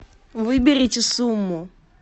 выберите сумму